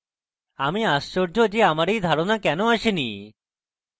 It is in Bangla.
আমি আশ্চর্য যে আমার এই ধারণা কেনো আসেনি